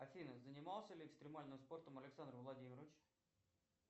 афина занимался ли экстремальным спортом александр владимирович